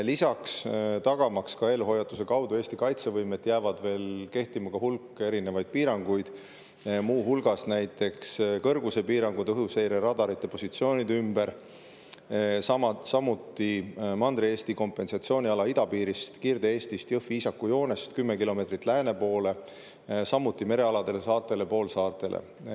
Lisaks, tagamaks ka eelhoiatuse kaudu Eesti kaitsevõimet, jääb veel kehtima hulk erinevaid piiranguid, muu hulgas näiteks kõrgusepiirangud õhuseireradarite positsioonide ümber, samuti Mandri-Eesti kompensatsiooniala idapiirist ehk siis Kirde-Eestist, Jõhvi–Iisaku joonest 10 kilomeetrit lääne poole, samuti merealadele, saartele, poolsaartele.